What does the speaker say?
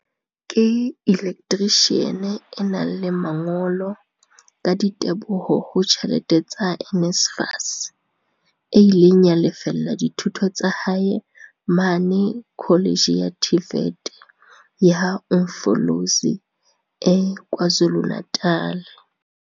ke elektrishiane e nang le mangolo, ka diteboho ho tjhelete tsa NSFAS, e ileng ya lefella dithuto tsa hae mane Kholetjhe ya TVET ya Umfolozi e KwaZulu-Natal.